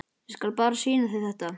Ég skal bara sýna þér þetta.